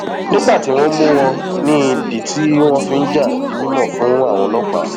nígbà um tí wọn mú wọn ní ìdí tí um wọn fi ń já di mímọ fáwọn ọlọpàá